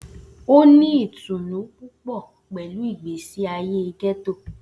O ni itunu pupọ pẹlu igbesi aye getto.